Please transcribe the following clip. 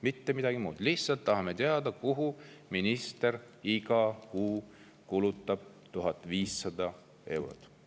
Mitte midagi muud, lihtsalt tahame teada, kuhu minister kulutab iga kuu 1500 eurot.